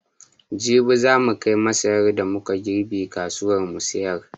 Jibi za mu kai masaran da mu ka girbe kasuwa mu sayar.